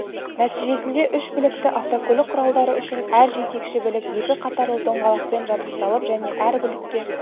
нәтижесінде үш білікті автокөлік құралдары үшін әр жетекші білік екі қатарлы доңғалақпен жабдықталып және әр білікке